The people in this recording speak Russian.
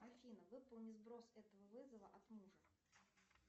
афина выполни сброс этого вызова от мужа